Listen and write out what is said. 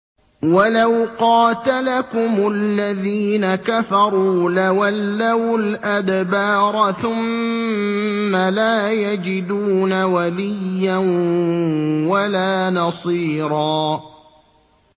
وَلَوْ قَاتَلَكُمُ الَّذِينَ كَفَرُوا لَوَلَّوُا الْأَدْبَارَ ثُمَّ لَا يَجِدُونَ وَلِيًّا وَلَا نَصِيرًا